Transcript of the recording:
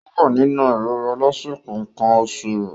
Ó wà nínú ìrora lásìkò nǹkan oṣù rẹ̀.